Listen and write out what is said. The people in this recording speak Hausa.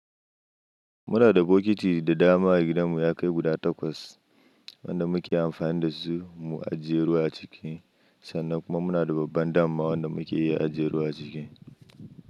Muna da bokiti da dama gidanmu ya kai guda takwas wanda muke amfani da su mu ajiye ruwa a ciki. Sannan kuma muna da babban dama wanda muke iya ajiye ruwa a ciki.